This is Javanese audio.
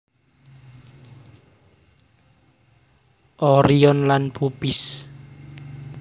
Orion lan Puppis